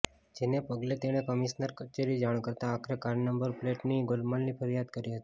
જેને પગલે તેણે કમિશનર કચેરી જાણ કરતાં આખરે કારની નંબર પ્લેટની ગોલમાલની ફરિયાદ કરી હતી